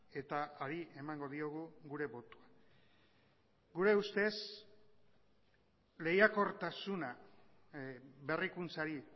eta ari emango diogu gure botoa gure ustez lehiakortasuna berrikuntzari